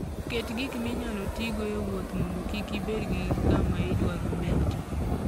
Ket gik minyalo tigo e wuoth mondo kik ibed gi kama idwaro betie.